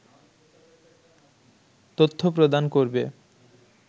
তথ্য প্রদান করবে